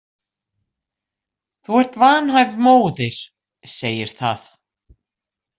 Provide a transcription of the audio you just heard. Þú ert vanhæf móðir, segir það